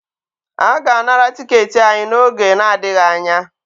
A ga-anara tiketi anyị n'oge na-adịghị anya